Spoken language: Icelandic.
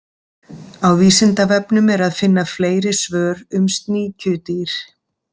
Á Vísindavefnum er að finna fleiri svör um sníkjudýr.